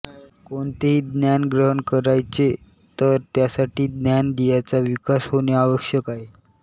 कोणतेही ज्ञान ग्रहण करायचे तर त्यासाठी ज्ञानेंदियांचा विकास होणे आवश्यक आहे